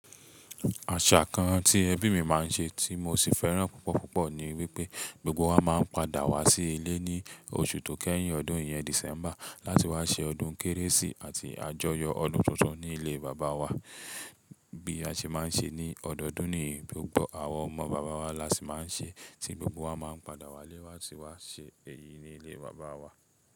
Àṣà kan tí ẹbí mi máa ń ṣe tí mo sì fẹ́ràn púpọ̀ púpọ̀ ni wípé gbogbo wa máa ń padà wá sí ilé ní oṣù to kẹ́yìn ọdún yẹn December láti wá ṣe ọdún kérésì ati àjọyọ̀ ọdún tuntun ní ilé Bàbá wa bí a ṣe máa ń ṣe ní ọdọọdún niyen gbogbo àwọn ọmọ bàbá wa lási máa ń ṣe tí gbogbo wa máa ń padà wá lé latí wá ṣe èyí ni ilé bàbá wa.